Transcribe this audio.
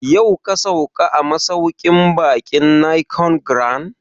Yau ka sauka a masauƙin baƙin Nicon Grand?